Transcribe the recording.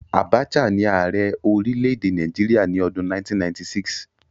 Abacha ni Ààrẹ orílẹ̀-èdè Nàìjíríà ní ọdún 1996.